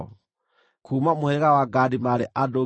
Kuuma mũhĩrĩga wa Gadi maarĩ andũ 45,650.